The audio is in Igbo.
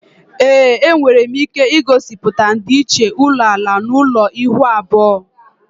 Ee, enwere m ike gosiputa ndịiche ulo ala na ulo ihuu abuo